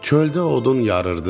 Çöldə odun yarırdı.